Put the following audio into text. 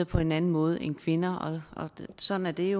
på en anden måde end kvinder og sådan er det